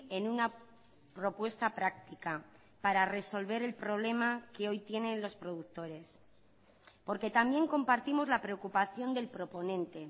en una propuesta práctica para resolver el problema que hoy tienen los productores porque también compartimos la preocupación del proponente